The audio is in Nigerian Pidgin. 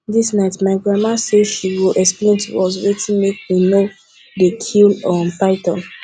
dis night my grandmama say she go explain to us wetin make we no we no dey kill um python